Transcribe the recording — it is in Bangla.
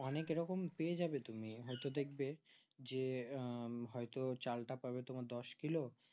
অনেক এরকম পেয়ে যাবে তুমি হয় তো দেখবে যে আঃ হয় তো চাল তা পাবে তোমার দশ কিলো